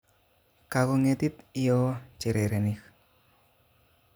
Kakong'etit iyoo chererenik